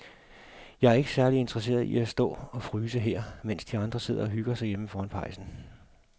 Jeg er ikke særlig interesseret i at stå og fryse her, mens de andre sidder og hygger sig derhjemme foran pejsen.